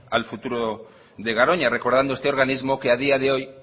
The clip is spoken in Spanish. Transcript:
al futuro de garoña recordando a este organismo que a día de hoy